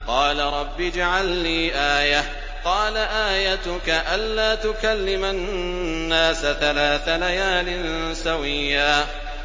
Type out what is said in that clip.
قَالَ رَبِّ اجْعَل لِّي آيَةً ۚ قَالَ آيَتُكَ أَلَّا تُكَلِّمَ النَّاسَ ثَلَاثَ لَيَالٍ سَوِيًّا